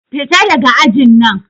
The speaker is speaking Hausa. Fita daga ajin nan!